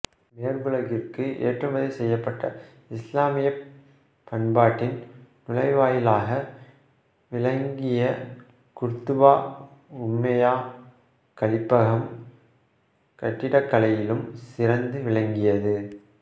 மேற்குலகிற்கு ஏற்றுமதி செய்யப்பட்ட இசுலாமியப் பண்பாட்டின் நுழைவாயிலாக விளங்கிய குர்துபா உமய்யா கலீபகம் கட்டிடக்கலையிலும் சிறந்து விளங்கியது